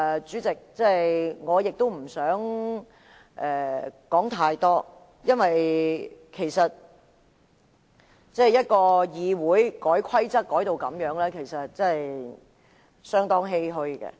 主席，我亦不想說太多，因為一個議會要把規則改成這樣，實在令人相當欷歔。